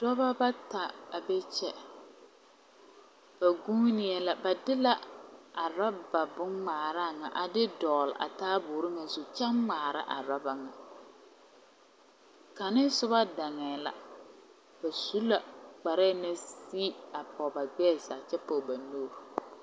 Dɔba bata a be kye ba guunee la ba de la a ruba bongmaaraa nga a de dɔgli a taaboori nga zu kye ngmaara a ruba nga kanga suba danee la ba su la kpare na si a pɔg ba gbɛɛ zaa kye pɔg ba nuuri.